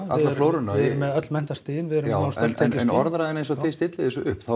alla flóruna en orðræðan eins og þið stillið þessu upp